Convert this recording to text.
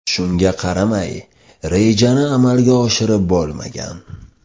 Shunga qaramay, rejani amalga oshirib bo‘lmagan.